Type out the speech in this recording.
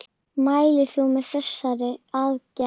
Mælir þú með þessari aðgerð?